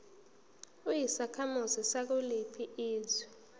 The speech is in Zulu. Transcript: uyisakhamuzi sakuliphi izwe